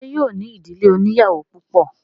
Ṣé yóò ní ìdílé oníyàwó púpọ̀?